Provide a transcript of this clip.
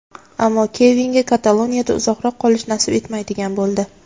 Ammo Kevinga Kataloniyada uzoqroq qolish nasib etmaydigan bo‘ldi.